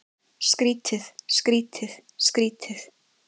Skrýtið, skrýtið, skrýtið.